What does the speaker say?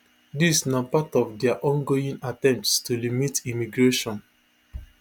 dis na part of dia ongoing attempts to limit immigration